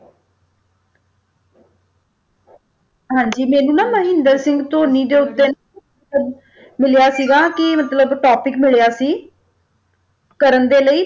ਹਾਂਜੀ ਮੈਨੂੰ ਨਾ ਮਹਿੰਦਰ ਸਿੰਘ ਧੋਨੀ ਦੇ ਉੱਤੇ ਮਿਲਿਆ ਸੀਗਾ ਕਿ ਮਤਲਬ topic ਮਿਲਿਆ ਸੀ ਕਰਨ ਦੇ ਲਈ